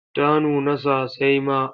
Ta nuna sasai ma.